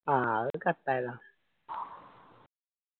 ആഹ് അത് cut ആയതാ